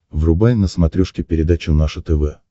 врубай на смотрешке передачу наше тв